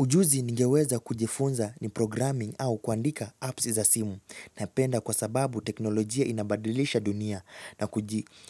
Ujuzi ningeweza kujifunza ni programming au kuandika apps za simu. Napenda kwa sababu teknolojia inabadilisha dunia na